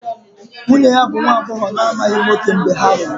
Nwunye ya bụ nwa agbọghọ na-amaghị nwoke mgbe ha lụrụ